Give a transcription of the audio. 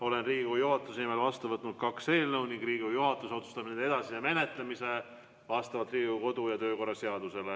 Olen Riigikogu juhatuse nimel vastu võtnud kaks eelnõu ning Riigikogu juhatus otsustab nende edasise menetlemise vastavalt Riigikogu kodu- ja töökorra seadusele.